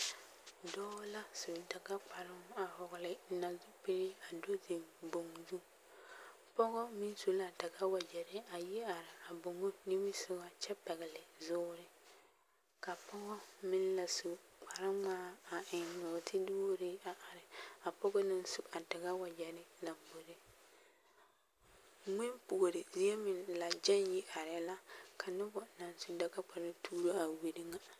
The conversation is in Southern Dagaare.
Dɔɔ la su Dagakparoŋ a hɔgele nazupili a do zeŋ boŋ zu, pɔgelɔ meŋ su la Dagawagyɛre a yi are a boŋo nimisogɔ kyɛ pɛgele zoore, ka pɔgɔ meŋ la su kpare ŋmaa a eŋ nɔɔte duurii a are, a pɔgɔ naŋ su a Dagawegyɛre lamboriŋ, ŋmempuori zie meŋ la gyɛŋ yi arɛɛ la ka noba naŋ su Dagakparoŋ tuuro a wiri ŋa.